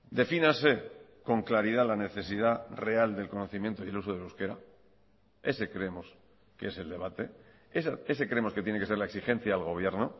defínase con claridad la necesidad real del conocimiento y el uso del euskera ese creemos que es el debate ese creemos que tiene que ser la exigencia al gobierno